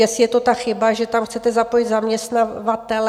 Jestli je to ta chyba, že tam chcete zapojit zaměstnavatele?